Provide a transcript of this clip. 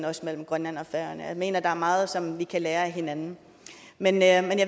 også grønland og færøerne jeg mener at der er meget som vi kan lære af hinanden men jeg vil